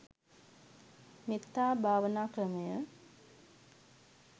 මෙත්තා භාවනා ක්‍රමය